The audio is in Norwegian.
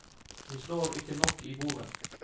Vi slår ikke nok i bordet.